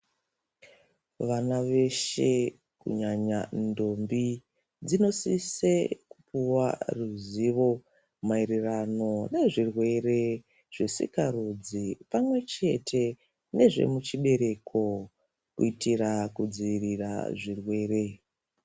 Vana veshe kunyanya ndombi dzinosise kupiwe ruzivo maererano nezvirwere zvesikarudzi pamwe chete rechibereko kuitira kudzivirira zvirwere.